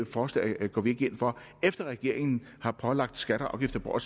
forslag går vi ikke ind for efter at regeringen har pålagt skatter og afgifter for